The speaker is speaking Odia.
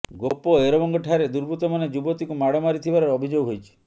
ଗୋପ ଏରବଙ୍ଗ ଠାରେ ଦୁର୍ବୁତ୍ତ ମାନେ ଯୁବତୀ କୁ ମାଡ଼ ମାରି ଥିବାର ଅଭିଯୋଗ ହୋଇଛି